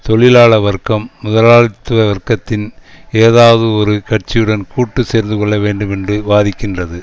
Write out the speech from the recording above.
தொழிலாள வர்க்கம் முதலாளித்துவ வர்க்கத்தின் ஏதாவதொரு கட்சியுடன் கூட்டு சேர்ந்துகொள்ள வேண்டும் என்று வாதிக்கின்றது